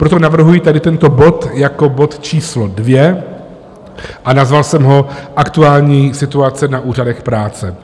Proto navrhuji tady tento bod jako bod číslo 2 a nazval jsem ho Aktuální situace na úřadech práce.